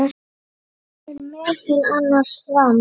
kemur meðal annars fram